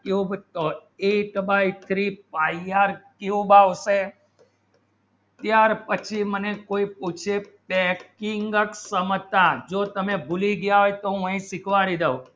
cube eight by three pie r cube આવશે યાર પછી મને કોઈ પૂછી ટરેટીયુક સંતાન જો તમે ભૂલી ગયા હૈ તો મને શીખવાડી દો